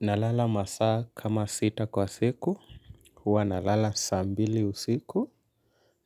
Nalala masaa kama sita kwa siku, huwa nalala saa mbili usiku